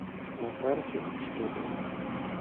на карте штопор